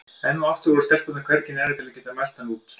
Enn og aftur voru stelpurnar hvergi nærri til að geta mælt hann út.